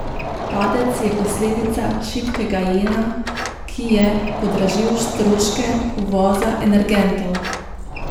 Padec je posledica šibkega jena, ki je podražil stroške uvoza energentov.